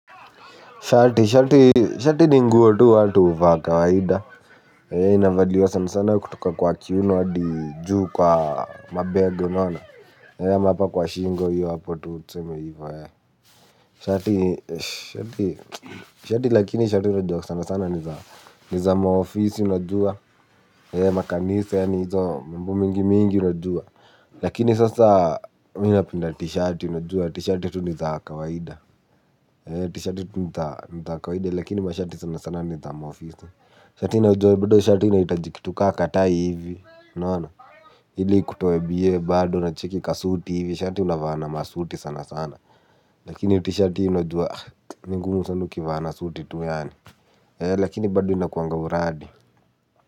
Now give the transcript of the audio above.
Shati, shati, shati ni nguo tu watu huvaa kawaida. Hii, inavaliwa sana sana kutoka kwa kiuno hadi juu kwa mabega unaona, ama hapa kwa shingo hiyo hapo tu tuseme hivo eeh. Shati, shati, shati, shati lakini shati unajua sana sana ni za ni za maofisi unajua makanisa yaani hizo mambo mingi mingi unajua. Lakini sasa mi napenda tishati unajua tishati tu ni za kawaida. Tishati ni za kawaida lakini mashati sana sana ni za maofisa shati unajua shati inahitaji kitu ka katai hivi ili ikutoe bie bado na cheki ka suti hivi shati unavaa na masuti sana sana. Lakini tishati unajua. Ni ngumu sanq ukivaa na suti tu yaani lakini bado inakuanga uradi.